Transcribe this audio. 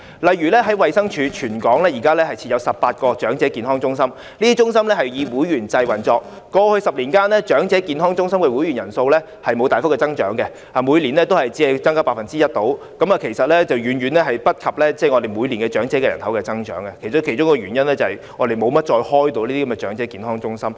例如，現時衞生署在全港設有18間長者健康中心，以會員制運作，在過去10年間，長者健康中心的會員人數沒有大幅增長，每年只是大約增加 1%， 遠遠趕不上每年長者人口的增長，當中一個原因，是我們沒有再怎樣開設這些長者健康中心。